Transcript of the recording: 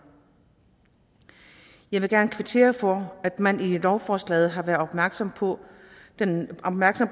jeg vil gerne kvittere for at man i lovforslaget har været opmærksom på den